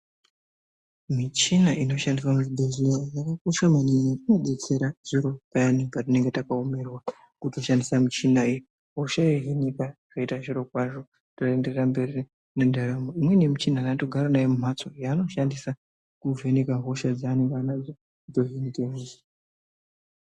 Michina inoshandiswa muzvibhedhleya yakakosha maningi inodetsera zviro payani patinenge taomerwa. Votoshandisa michina iyi hosha yohinika zvoita zviro kwazvo totoenderera mberi mendaramo. Imweni yemichina antu anotogara nayo mumhatso yaanoshandisa kuvheneka hosha dzanenge anadzo dzohinika.